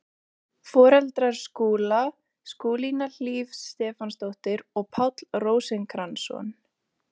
Foreldrar Skúla, Skúlína Hlíf Stefánsdóttir og Páll Rósinkransson.